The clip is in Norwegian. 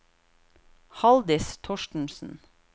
Haldis Thorstensen